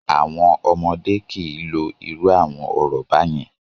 Àwọn ọmọdé kì í lo irú àwọn ọ̀rọ̀ báyẹn!